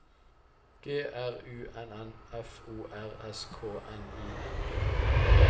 G R U N N F O R S K N I N G